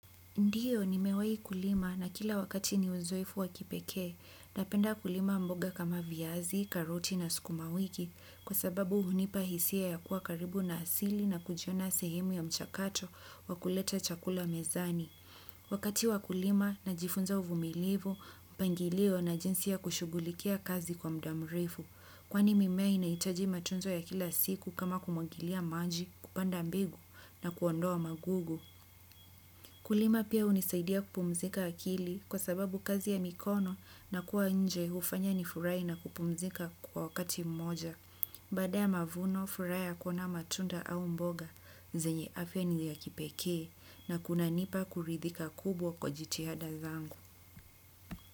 Ndiyo, nimewehi kulima na kila wakati ni uzoefu wakipeke. Napenda kulima mboga kama viazi, karoti na sukuma wiki, kwa sababu hunipa hisia ya kuwa karibu na asili na kujiona sehemu ya mchakato wa kuleta chakula mezani. Wakati wa kulima najifunza uvumilivu, mpangilio na jinsi ya kushugulikia kazi kwa muda mrefu. Kwani mimea inahitaji matunzo ya kila siku kama kumwagilia maji kupanda mbegu na kuondoa magugu. Kulima pia hunisaidia kupumzika akili, kwa sababu kazi ya mikono, na kua nje hufanya nifurahi na kupumzika kwa wakati mmoja. Baada ya mavuno, furaha ya kuona matunda au mboga, zenye afya ni ya kipekee na kunanipa kuridhika kubwa kwa jitihada zangu.